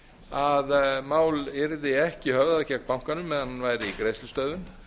að mál yrði ekki höfðað gegn bankanum meðan hann væri í greiðslustöðvun